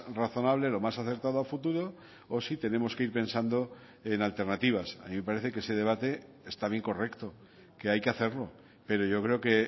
razonable lo más acertado a futuro o si tenemos que ir pensando en alternativas a mí me parece que ese debate está bien correcto que hay que hacerlo pero yo creo que